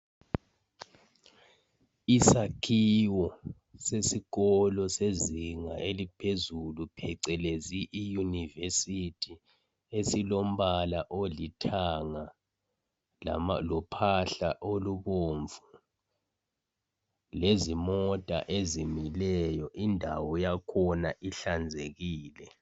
Isakhiwo sesikolo esiphezulu phecelezi iyunivesithi esilombala olithanga lophahla olubomvu lezimoya ezimileyo indawo yakhona ihlanzekile